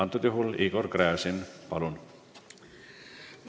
Kui jah, siis Igor Gräzin, palun!